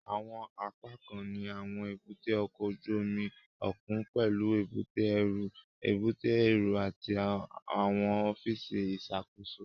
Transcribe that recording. Àwọn apákan ní àwọn èbúté ọkọ̀ ojú omi òkun pẹlú èbúté ẹrú, èbúté èrò àti àwọn ọfíìsì ìṣàkóso